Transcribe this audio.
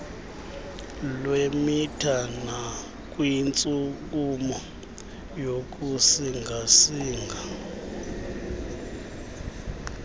lwemitha nakwintshukumo yokusingasinga